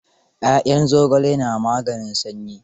Ya'yan zogale na maganin sanyi.